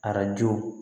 Arajo